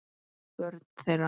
Börn þeirra